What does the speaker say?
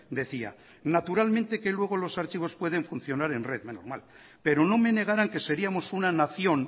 decía naturalmente que luego los archivos pueden funcionar en red menos mal pero no me negarán que seríamos una nación